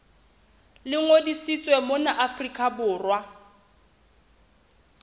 le ngodisitsweng mona afrika borwa